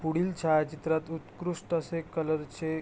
पुढील छायाचित्रात उत्कृष्ट असे कलर चे --